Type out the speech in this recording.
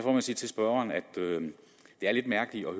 jeg sige til spørgeren at det er lidt mærkeligt at